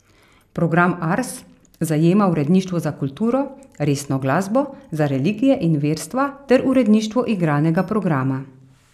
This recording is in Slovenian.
Program Ars zajema uredništva za kulturo, resno glasbo, za religije in verstva ter uredništvo igranega programa.